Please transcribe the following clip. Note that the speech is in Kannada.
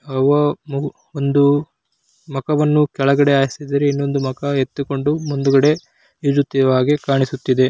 ಅವ್ವ ಮಗು ಒಂದು ಮಕವನ್ನು ಕೆಳಗಡೆ ಹಾಸಿದರೆ ಮಕ ಎತ್ಕೊಂಡು ಮುಂದುಗಡೆ ಹಾಗೆ ಕಾಣಿಸುತ್ತಿದೆ.